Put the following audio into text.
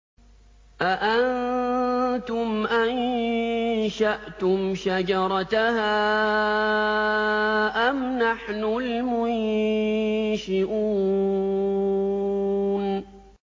أَأَنتُمْ أَنشَأْتُمْ شَجَرَتَهَا أَمْ نَحْنُ الْمُنشِئُونَ